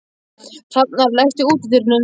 Hrafnar, læstu útidyrunum.